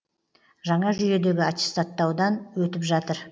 жаңа жүйедегі аттестаттаудан өтіп жатыр